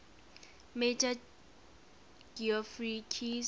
major geoffrey keyes